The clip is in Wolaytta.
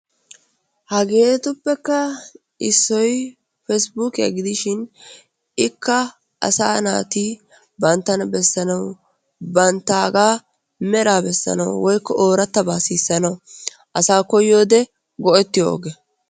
Hageetuppekka issoy pesbukkiya gidishin ikka asaa naati banttana bessanawu banttaagaa meraa bessanawu oorattabaa sissanawu asaa koyyiyode go'ettiyo oge.